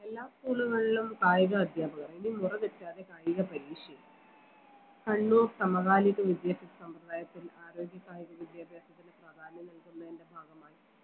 എല്ലാ school കളിലും കായിക അധ്യാപകർ ഇനി മുറ തെറ്റാതെ കായിക പരീക്ഷയില്ല കണ്ണൂർ സമകാലീക വിദ്യാഭ്യാസ സമ്പ്രത്തായത്തിൽ ആരോഗ്യ കായിക വിദ്യാഭ്യാസത്തിന് പ്രാധാന്യം നൽകുന്നതിൻറെ ഭാഗമായി